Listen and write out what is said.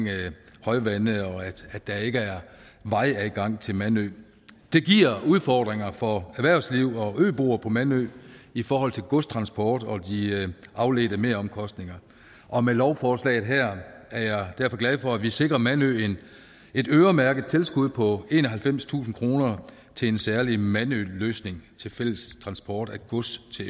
højvande og at der ikke er vejadgang til mandø det giver udfordringer for erhvervsliv og øboere på mandø i forhold til godstransport og de afledte meromkostninger og med lovforslaget her er jeg derfor glad for at vi sikrer mandø et øremærket tilskud på enoghalvfemstusind kroner til en særlig mandøløsning til fælles transport af gods til